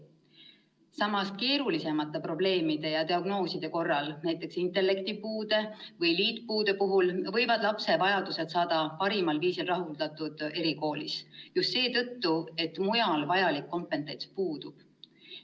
Samas, keerulisemate probleemide ja diagnooside korral, näiteks intellektipuude või liitpuude puhul, võivad lapse vajadused saada parimal viisil rahuldatud erikoolis, just seetõttu, et mujal vajalik kompetents puudub.